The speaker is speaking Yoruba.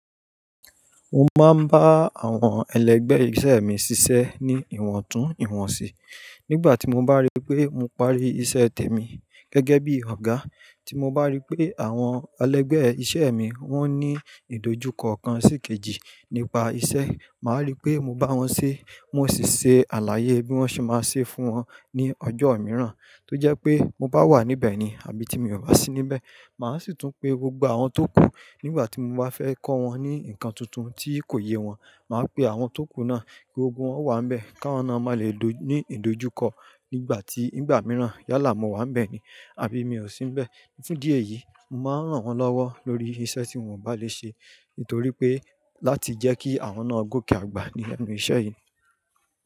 Mo máa ń bá àwọn ẹlẹgbẹ́ iṣẹ́ mi ṣiṣẹ́ ní ìwọ̀ntún ìwọ̀nsí. Nígbà tí mo bá rí pé mo parí iṣẹ́ tèmi gẹ́gẹ́ bí Ọ̀gá, tí mo bá rí pé àwọn ẹlẹgbẹ́ iṣẹ́ mi wọ́n ní ìdojúkọ ọ̀kan sí ìkejì nípa iṣẹ́, màá rí pé mo bá wọn ṣe. Mo sì ṣe àlàyé bí wọ́n ṣe máa ṣe fún wọn ní ọjọ́ mìíràn. Tó jẹ́ pé mo bá wà níbẹ̀ ni, àbí tí mi ò bá sí níbẹ̀, màá sì tún pe gbogbo àwọn tókù nígbà tí mo bá fẹ́ kọ́ wọn ní nǹkan tuntun tí kò yé wọn. Màá pe àwọn tókù náà kí gbogbo wọn wà níbẹ̀, ká wọn náà máa lè ní ìdojúkọ nígbà tí ìgbà mìíràn yálà mo wà níbẹ̀ ni, àbí mi ò sí níbẹ̀. Ní fún díẹ̀ yìí, mo máa ń ràn wọ́n lọ́wọ́ lórí iṣẹ́ tí wọn ò bá lè ṣe. Nítorí pé láti jẹ́ kí àwọn náà gòkè àgbà ní ẹnu iṣẹ́ yìí.